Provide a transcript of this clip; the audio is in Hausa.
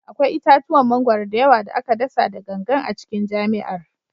Akwai itatuwan mangwaro da yawa da aka dasa da gangan a cikin jami'ar